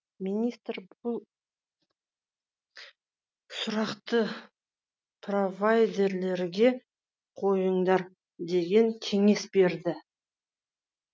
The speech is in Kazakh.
министр бұл сұрақты провайдерлерге қойыңдар деген кеңес берді